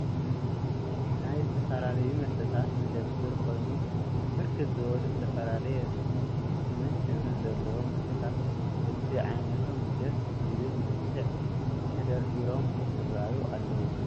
ናይ ዝተፈላለዩ መስተታት መደብር (መሸጢ ድንኳን) ኮይኑ ብርክት ዝበሉ ዝተፈላለየ ስምን ሕብርን ዘለዎም መስተታት በቢ ዓይነቶም ደስ ብዝብል መልክዕ ተደርዲሮም የረአዩ አለወ፡፡